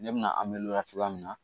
Ne bɛna cogoya min na